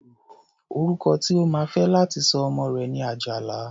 Orúkọ tí o máa fé láti sọ ọmọ rẹ̀ ni Àjàlá.